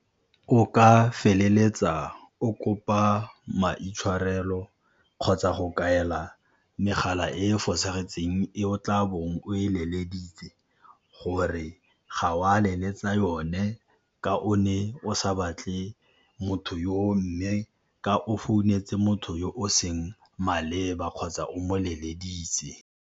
O ka feleletsa o kopa maitshwarelo kgotsa go kaela megala e e fosagetseng e o tla bong o e letseditse gore ga o a leletsa yone ka o ne o sa batle motho yoo, mme ka o founetse motho yo o seng maleba kgotsa o moleleditse.